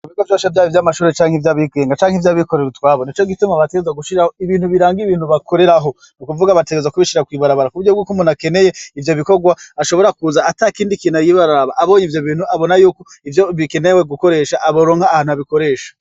Mubiga vyasha vyabo ivyo amashuri canke ivyo abigenga canke ivyo abikorerwa twabona co gituma batezwa gushiraho ibintu biranga ibintu bakorerahonu kuvuga abategeza kubishira kwibarabara kuburyo bwuko umunakeneye ivyo bikorwa ashobora kuza ata kindi kina yibaraba abonye ivyo bintu abona yuko ivyo bikenewe gukoresha aboronka ahantu abikoresha.